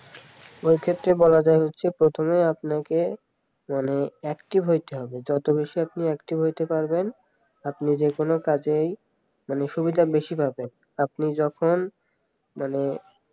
এক্ষেত্রে বলা যায় হচ্ছে প্রথমে আপনাকে মানে active হইতে হবে যত বেশি আপনি active হইতে পারবেন আপনি যে কোন কাজে সুবিধে বেশি পাবেন আপনি যখন মানে